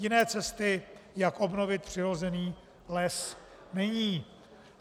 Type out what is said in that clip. Jiné cesty, jak obnovit přirozený les, není.